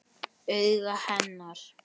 Augu hennar.